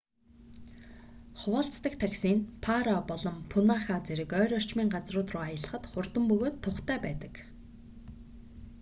хуваалцдаг такси нь паро nu 150 болон пунаха nu200 зэрэг ойр орчмын газрууд руу аялахад хурдан бөгөөд тухтай байдаг